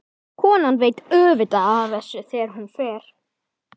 Konan veit auðvitað af þessu þegar hún fer.